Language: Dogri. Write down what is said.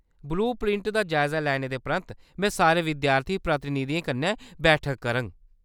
ब्लू प्रिंट दा जायजा लैने दे परैंत्त में सारे विद्यार्थी प्रतिनिधियें कन्नै बैठक करङ।